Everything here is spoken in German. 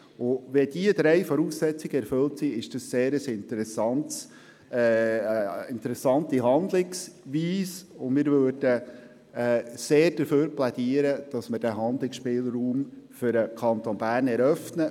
Wenn diese drei Voraussetzungen erfüllt sind, handelt es sich um eine interessante Handlungsweise, und deshalb plädieren wir dafür, den Handlungsspielraum für den Kanton Bern zu eröffnen.